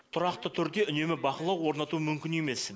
тұрақты түрде үнемі бақылау орнату мүмкін емес